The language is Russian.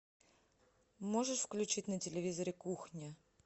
можешь включить на телевизоре кухня